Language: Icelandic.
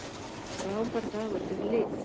Frábær dagur fyrir lið